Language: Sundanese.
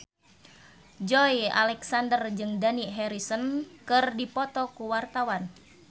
Joey Alexander jeung Dani Harrison keur dipoto ku wartawan